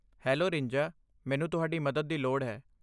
Hello ਰਿੰਜਾ, ਮੈਨੂੰ ਤੁਹਾਡੀ ਮਦਦ ਦੀ ਲੋੜ ਹੈ।